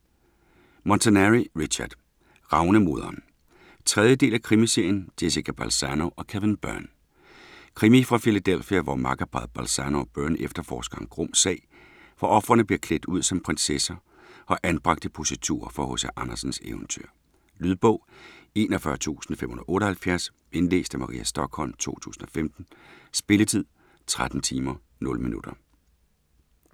Montanari, Richard: Ravnemoderen 3. del af krimiserien Jessica Balzano & Kevin Byrne. Krimi fra Philadelphia, hvor makkerparret Balzano og Byrne efterforsker en grum sag, hvor ofrene bliver klædt ud som prinsesser og anbragt i positurer fra H.C. Andersens eventyr. Lydbog 41578 Indlæst af Maria Stokholm, 2015. Spilletid: 13 timer, 0 minutter.